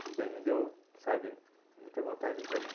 Isso daí me deu, sabe, muita vontade de voltar.